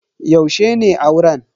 Yaushe ne auren?